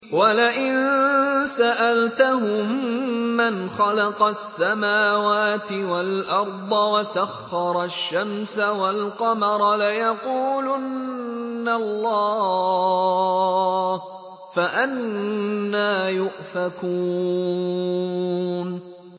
وَلَئِن سَأَلْتَهُم مَّنْ خَلَقَ السَّمَاوَاتِ وَالْأَرْضَ وَسَخَّرَ الشَّمْسَ وَالْقَمَرَ لَيَقُولُنَّ اللَّهُ ۖ فَأَنَّىٰ يُؤْفَكُونَ